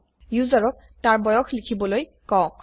ইউজাৰক তাৰ বয়স লিখবলৈ কওক